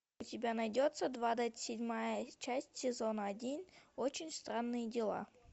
у тебя найдется двадцать седьмая часть сезона один очень странные дела